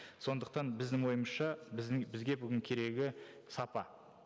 сондықтан біздің ойымызша біздің бізге бүгін керегі сапа